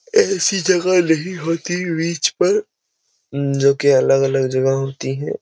ऐसी जगह नहीं होती बीच पर जो कि अलग-अलग जगह होती है।